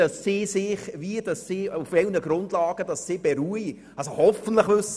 Hier will man etwas tun, das völlig unnötig ist!